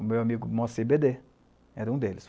O meu amigo Mosse bê dê era um deles.